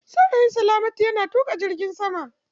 Saurayin salamatu yana tuƙa jirgin sama.